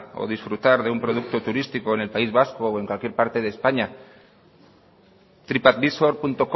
o disfrutar de un producto turístico en el país vasco o en cualquier parte de españa tripadvisorcom